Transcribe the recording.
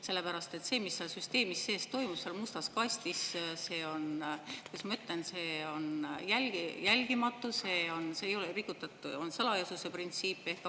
Sellepärast et see, mis seal süsteemis sees toimub, seal mustas kastis, see on, kuidas ma ütlen, see on jälgimatu, on rikutud salajasuse printsiipi.